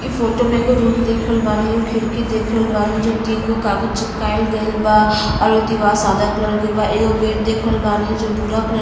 इ फोटो में एगो रूम देख रहल बानी खिड़की देख रहल बानी जो तीन गो कागज़ चिपकाईल गईल बा और उ दीवार सादा कलर के बा। एगो गेट देख रहल बानी जो भूरा कलर --